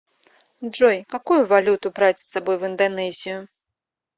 джой какую валюту брать с собой в индонезию